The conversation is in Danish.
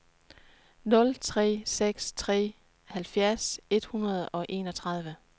nul tre seks tre halvfjerds et hundrede og enogtredive